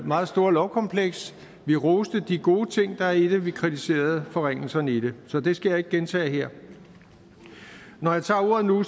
meget store lovkompleks vi roste de gode ting der er i det vi kritiserede forringelserne i det så det skal jeg ikke gentage her når jeg tager ordet nu